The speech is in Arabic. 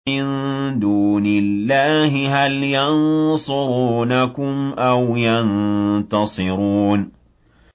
مِن دُونِ اللَّهِ هَلْ يَنصُرُونَكُمْ أَوْ يَنتَصِرُونَ